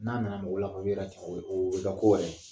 N'a nana mɔgɔw la te o be oo be kɛ ko wɛrɛ ye.